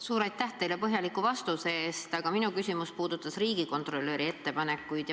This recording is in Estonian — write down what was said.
Suur aitäh teile põhjaliku vastuse eest, aga minu küsimus puudutas riigikontrolöri ettepanekuid.